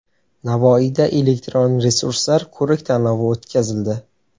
Navoiyda elektron resurslar ko‘rik-tanlovi o‘tkazildi.